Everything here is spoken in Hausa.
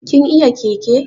Kin iya keke?